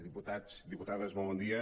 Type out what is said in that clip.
diputats diputades molt bon dia